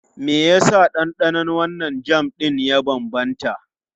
Me yasa ɗanɗanon wannan jam ɗin ya bambanta?